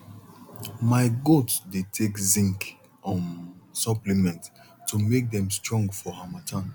my goat dey take zinc um supplement to make dem strong for harmattan